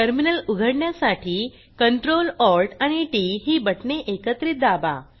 terminal उघडण्यासाठी Ctrl Alt आणि T T ही बटणे एकत्रित दाबा